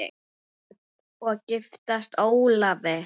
Hödd: Og giftast Ólafi?